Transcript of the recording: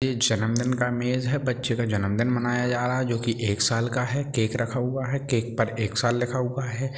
ये जनमदिन का मेज है बच्चे का जनमदिन मनाया जा रहा हैं जो कि एक साल का है केक रखा हुआ है केक पर एक साल लिखा हुआ है ।